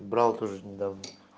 брал тоже недавно